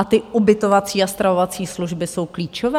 A ty ubytovací a stravovací služby jsou klíčové?